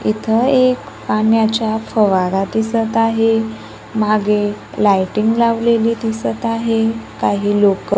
इथं एक पाण्याचा फवारा दिसतं आहे. मागे लाइटिंग लावलेली दिसतं आहे. काही लोकं--